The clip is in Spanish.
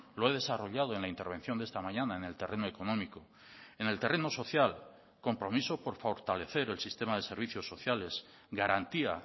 lo he desarrollado en la intervención de esta mañana en el terreno económico en el terreno social compromiso por fortalecer el sistema de servicios sociales garantía